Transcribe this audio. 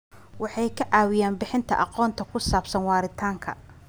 Waxay ka caawiyaan bixinta aqoonta ku saabsan waaritaanka.